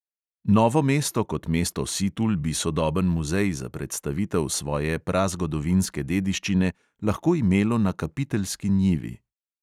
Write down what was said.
Novo mesto kot mesto situl bi sodoben muzej za predstavitev svoje prazgodovinske dediščine lahko imelo na kapiteljski njivi.